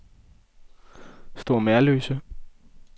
Store Merløse